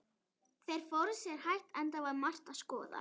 Þeir fóru sér hægt, enda var margt að skoða.